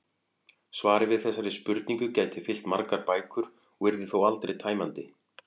Svarið við þessari spurningu gæti fyllt margar bækur og yrði þó aldrei tæmandi.